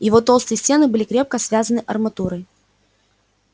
его толстые стены были крепко связаны арматурой